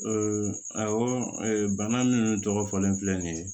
awɔ bana min tɔgɔ fɔlen filɛ nin ye